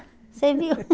Você viu?